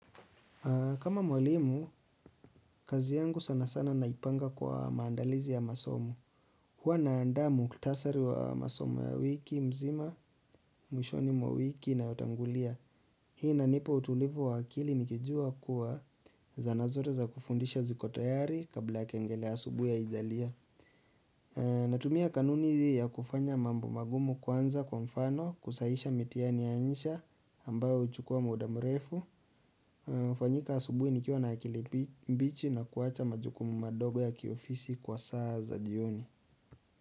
Kama mwalimu, kazi yangu sana sana naipanga kwa maandalizi ya masomo. Huwa naanda muhtasari wa masomo ya wiki mzima mwishoni mwa wiki inayotangulia. Hii inanipa utulivu wa akili nikijua kuwa zana zote za kufundisha ziko tayari kabla kengele ya asubuhui haijalia. Natumia kanuni ya kufanya mambo magumu kwanza kwa mfano, kusahisha mitihani ya insha ambayo huchukua muda mrefu. Fanyika asubuhi nikiwa na akili mbichi na kuwacha majukumu madogo ya kiofisi kwa saa za jioni.